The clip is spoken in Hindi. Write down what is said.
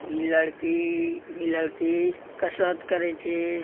इ लड़की इ लड़की कशरत करे छै।